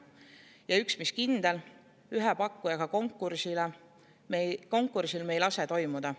Ja üks, mis kindel: ühe pakkujaga konkursil me ei lase toimuda.